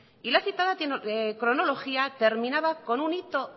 y la citada cronología terminaba con un hito